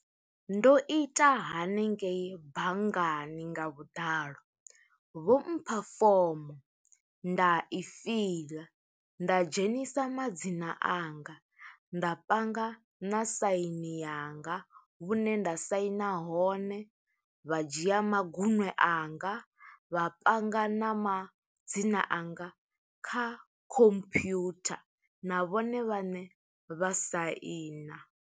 Ndo ita hanengeyi banngani nga vhuḓalo, vho mpha fomo, nda i fiḽa, nda dzhenisa madzina anga. Nda panga na saini yanga hune nda saina hone, vha dzhia magunwe anga, vha panga na ma dzina anga kha khompyutha, na vhone vhaṋe vha saina.